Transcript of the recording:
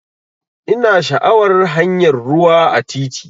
Ina sha'awar hanyar rayuwa a titi.